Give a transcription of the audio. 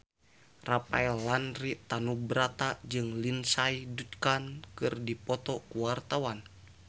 Rafael Landry Tanubrata jeung Lindsay Ducan keur dipoto ku wartawan